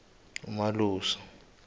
umalusi